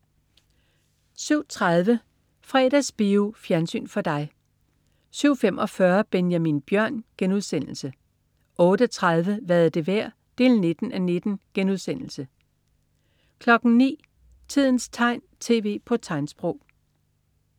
07.30 Fredagsbio. Fjernsyn for dig 07.45 Benjamin Bjørn* 08.30 Hvad er det værd? 19:19* 09.00 Tidens tegn, tv på tegnsprog